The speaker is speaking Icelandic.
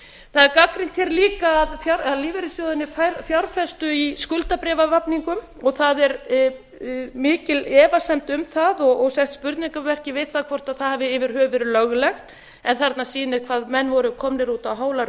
það er gagnrýnt hér líka að lífeyrissjóðirnir fjárfestu í skuldabréfavafningum og það er mikil efasemd um það og sett spurningarmerki við það hvort það hafi yfir höfuð verið löglegt en þarna sýnir hvað menn voru komnir út á hálar